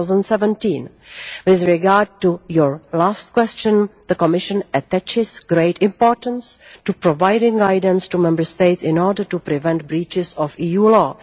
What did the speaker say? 2017. With regard to your last question, the Commission attaches great importance to providing guidance to Member States in order to prevent breaches of EU law.